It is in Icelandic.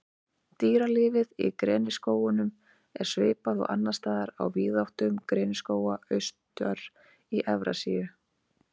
Dýralífið Í greniskógunum er svipað og annars staðar á víðáttum greniskóga austar í Evrasíu.